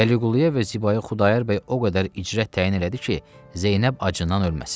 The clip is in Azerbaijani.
Vəliquluya və Zibaya Xudayar bəy o qədər icrə təyin elədi ki, Zeynəb acından ölməsin.